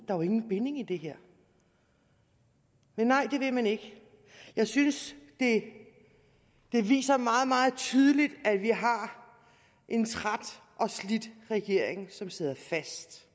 er jo ingen binding i det her men nej det vil man ikke jeg synes det det viser meget meget tydeligt at vi har en træt og slidt regering som sidder fast